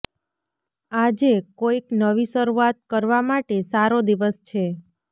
આજે કોઈક નવી શરૂઆત કરવા માટે સારો દિવસ છે